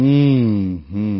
হুম হুম